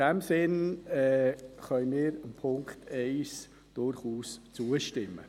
In diesem Sinn können wir dem Punkt 1 durchaus zustimmen.